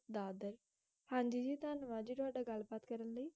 ਹਾਂਜੀ ਜੀ ਧੰਨਵਾਦ ਜੀ ਤੁਹਾਡਾ ਗੱਲਬਾਤ ਕਰਨ ਲਈ